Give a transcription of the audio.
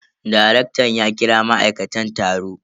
Darektan ya kira ma'aikatan taro.